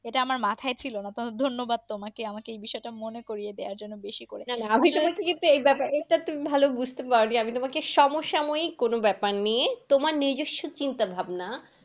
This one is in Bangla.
এটা আমার মাথায় ছিল না। ধন্যবাদ তোমাকে আমাকে এ বিষয়টা মনে করিয়ে দেওয়ার জন্য। বেশি করে, ভালো বুজতে পারি আমি তোমাকে সমসাময়িক কোনো ব্যাপার নিয়ে তোমার নিজস্ব চিন্তা ভাবনা।